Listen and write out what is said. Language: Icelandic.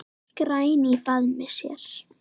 græn í faðmi sér.